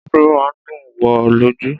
Afro máa ń dùn wò lójú.